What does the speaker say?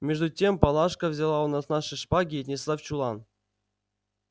между тем палашка взяла у нас наши шпаги и отнесла в чулан